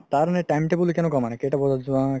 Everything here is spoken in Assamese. তাৰ এনে time table কেনেকুৱা মানে কেইতা বজাত যোৱা ?